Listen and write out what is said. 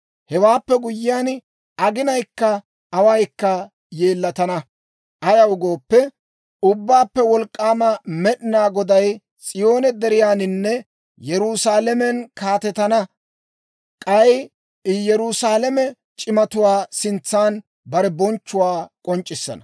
Hewaappe guyyiyaan, aginayikka awaykka yeellatana. Ayaw gooppe, Ubbaappe Wolk'k'aama Med'inaa Goday S'iyoone deriyaaninne Yerusaalamen kaatetana; k'ay I Yerusaalame c'imatuwaa sintsan bare bonchchuwaa k'onc'c'issana.